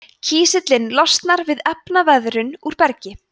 kísillinn losnar við efnaveðrun úr bergi